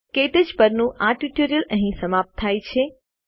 ક્ટચ પરનું આ ટ્યુટોરીયલ અહીં સમાપ્ત થાય છે